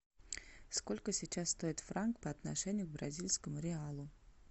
сколько сейчас стоит франк по отношению к бразильскому реалу